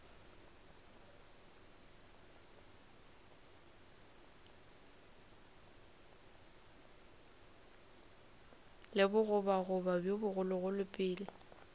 le bogoboga bjo bogologolo pele